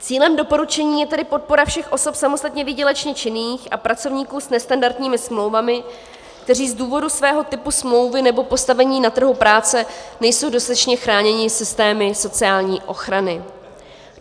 Cílem doporučení je tedy podpora všech osob samostatně výdělečně činných a pracovníků s nestandardními smlouvami, kteří z důvodu svého typu smlouvy nebo postavení na trhu práce nejsou dostatečně chráněni systémy sociální ochrany.